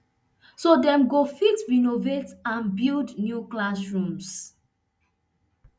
so dem go fit renovate and build new classrooms